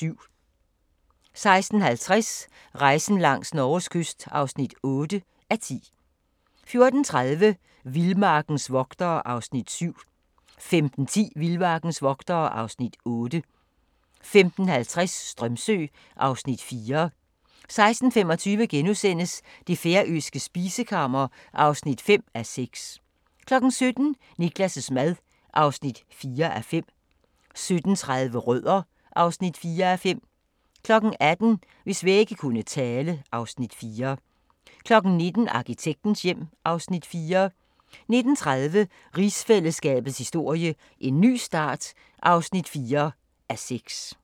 13:50: Rejsen langs Norges kyst (8:10) 14:30: Vildmarkens vogtere (Afs. 7) 15:10: Vildmarkens vogtere (Afs. 8) 15:50: Strömsö (Afs. 4) 16:25: Det færøske spisekammer (5:6)* 17:00: Niklas' mad (4:5) 17:30: Rødder (4:5) 18:00: Hvis vægge kunne tale (Afs. 4) 19:00: Arkitektens hjem (Afs. 4) 19:30: Rigsfællesskabets historie: En ny start (4:6)